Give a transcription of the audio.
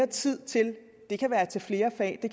tiden til